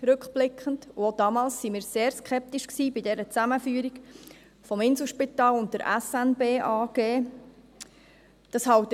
Auch damals waren wir gegenüber der Zusammenführung des Inselspitals und der SNB AG sehr skeptisch.